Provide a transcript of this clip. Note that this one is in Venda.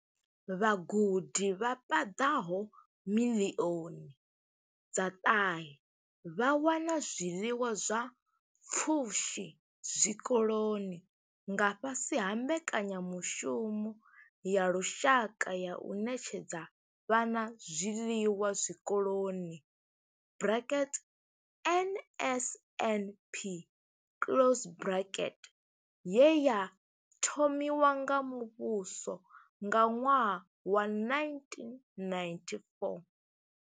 Vhagudi vha paḓaho miḽioni dza ṱahe vha wana zwiḽiwa zwa pfushi zwikoloni nga fhasi ha Mbekanya mushumo ya Lushaka ya u Ṋetshedza Vhana Zwiḽiwa Zwikoloni NSNP ye ya thomiwa nga muvhuso nga ṅwaha wa 1994.